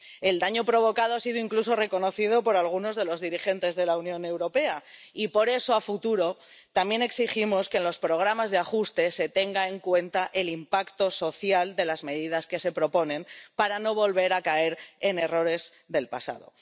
El daño provocado ha sido incluso reconocido por algunos de los dirigentes de la Unión Europea y por eso, de cara al futuro, también exigimos que en los programas de ajuste se tenga en cuenta el impacto social de las medidas que se proponen para no volver a caer en errores del pasado.